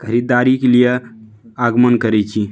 खरीदारी के लिए आगमन करे छी।